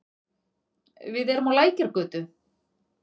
Við erum á Lækjargötu.